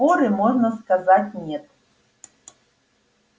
форы можно сказать нет